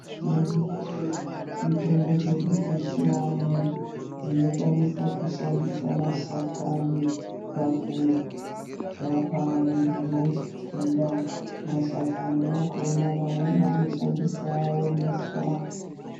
Tine mitombo dzedu dzechianhu dzinokwanisa kushandisa mashakani pakurapa muntu une chitenda. Mashakani akhona mamweni anoshandiswa awomeswa.